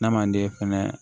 N'a man d'e fɛnɛ